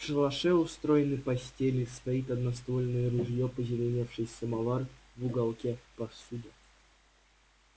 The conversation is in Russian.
в шалаше устроены постели стоит одноствольное ружьё позеленевший самовар в уголке посуда